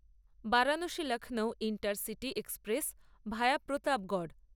Varanasi Lucknow intercity express via Pratapgarh